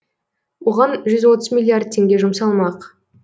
оған жүз отыз миллиард теңге жұмсалмақ